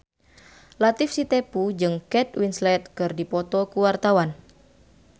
Latief Sitepu jeung Kate Winslet keur dipoto ku wartawan